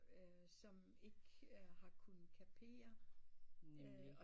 Øh som ikke har kunnet kapere øh